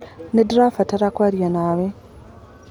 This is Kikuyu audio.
Nĩndĩrabatara kwaria nawe.